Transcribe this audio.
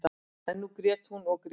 En nú grét hún og grét.